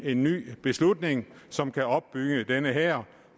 en ny beslutning som kan opbygge denne hær